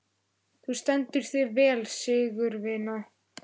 Þú stendur þig vel, Sigurvina!